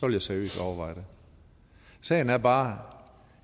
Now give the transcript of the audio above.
jeg seriøst overveje det sagen er bare